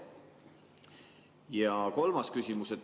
Ja kolmas küsimus.